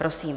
Prosím.